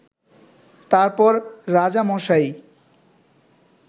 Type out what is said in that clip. তারপর রাজামশাই